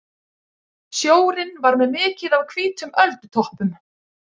Sjórinn var með mikið af hvítum öldutoppum.